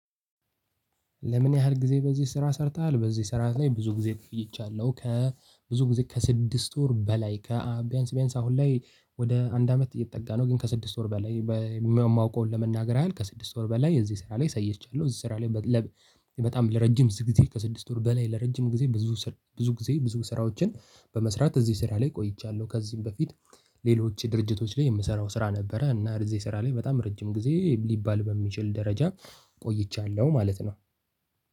ለምን ያህል ጊዜ በዚህ ስራ ሰርተሃል? በዚህ ስራ ላይ ብዙ ጊዜ ቆይቻለሁ ከብዙ ጊዜ ከስድስት ወር በላይ ከቢያንስ ቢያንስ አሁን ላይ ወደ አንድ አመት እየተጠጋ ነው። ግን ከስድስት ወር በላይ የማውቀውን ለመናገር ያህል ከስድስት ወር በላይ የዚህ ስራ ላይ ሰይቻለሁ። የዚህ ስራ ላይ ለ በጣም ለረጅም ስድስት ጊዜ ከስድስት ወር በላይ ለረጅም ጊዜ ብዙ ብዙ ጊዜ ብዙ ስራዎችን በመስራት እዚህ ስራ ላይ ቆይቻለሁ። ከዚህም በፊት ሌሎች የድርጅቶች ላይ የምሰራው ስራ ነበረ። እና እዚህ ስራ ላይ በጣም ረጅም ጊዜ ሊባል በሚችል ደረጃ ቆይቻለሁ ማለት ነው።